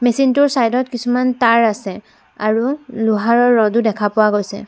Machine টোৰ side ত কিছুমান তাঁৰ আছে আৰু লোহাৰৰ ৰ'ড ও দেখা পোৱা গৈছে।